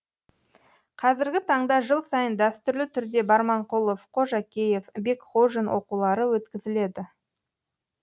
қазіргі таңда жыл сайын дәстүрлі түрде барманқұлов қожакеев бекхожин оқулары өткізіледі